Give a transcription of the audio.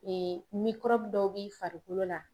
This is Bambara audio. Ee mikɔrɔbu dɔw b'i farikolo la